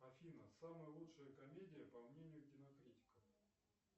афина самая лучшая комедия по мнению кинокритиков